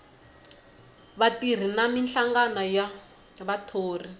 vatirhi na minhlangano ya vathori